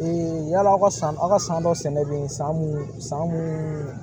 yala aw ka aw ka san dɔ sɛnɛlen san mun san mun